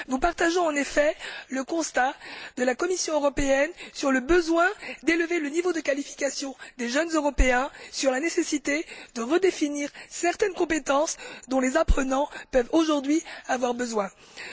Nous partageons en effet le constat de la Commission européenne quant au besoin d'élever le niveau de qualification des jeunes Européens et à la nécessité de redéfinir certaines compétences dont les apprenants peuvent avoir besoin aujourd'hui.